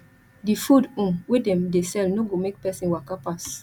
di food um wey dem dey sell no go make person waka pass